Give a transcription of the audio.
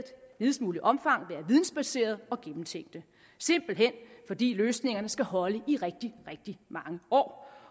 videst muligt omfang være vidensbaserede og gennemtænkte simpelt hen fordi løsningerne skal holde i rigtig rigtig mange år